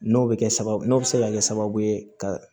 N'o bɛ kɛ sababu n'o bɛ se ka kɛ sababu ye ka